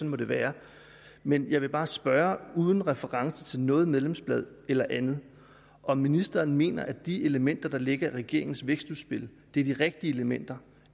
må det være men jeg vil bare spørge uden reference til noget medlemsblad eller andet om ministeren mener at de elementer der ligger i regeringens vækstudspil er de rigtige elementer